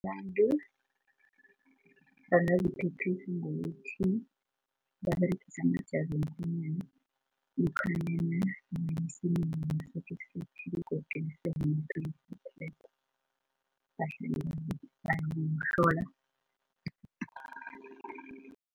Abantu bangaziphephisa ngokuthi baberegise amajazi womkhwenyana lokhanyana nabaya emsemeni ngesikhathi esithileko ukuqinisekisa ivikeleko. Bahlela bazihlola